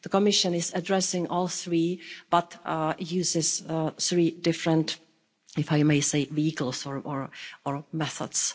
The Commission is addressing all three, but uses three different, if I may say, vehicles or methods.